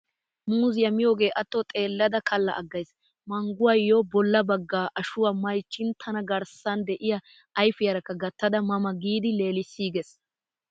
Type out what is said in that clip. Muuzziyaa miyoogee atto xeellada kalla aggays. Mangguwaayyo bolla bagga ashuwaa maychin tana garssan de'iyaa ayfiyaarakka gattada ma ma giidi leelissiigees.